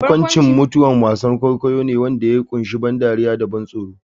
Barkwanci-mutuwa wasan kwaikwayo ne wanda ya kunshi ban dariya da ban tsoro.